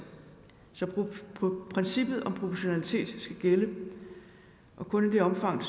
så princippet om proportionalitet skal gælde og kun i det omfang